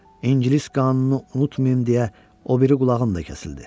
İngilis qanunu unutmayın deyə o biri qulağım da kəsildi.